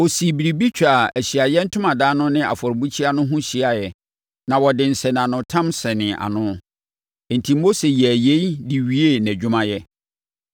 Ɔsii biribi twaa Ahyiaeɛ Ntomadan no ne afɔrebukyia no ho hyiaeɛ na wɔde nsɛnanotam sɛnee ano. Enti Mose yɛɛ yei de wiee nʼadwumayɛ.